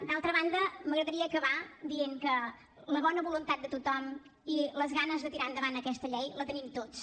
d’altra banda m’agradaria acabar dient que la bona voluntat de tothom i les ganes de tirar endavant aquesta llei la tenim tots